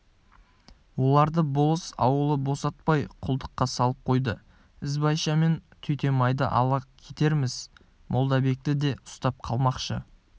оларды болыс ауылы босатпай құлдыққа салып қойды ізбайша мен түйметайды ала кетерміз молдабекті де ұстап қалмақшы